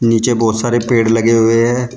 नीचे बहोत सारे पेड़ लगे हुए हैं।